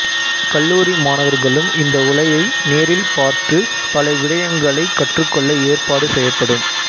கல்லூரி மாணவர்களும் இந்த உலையை நேரில் பார்த்து பல விடயங்களைக் கற்றுக்கொள்ள ஏற்பாடு செய்யப்படும்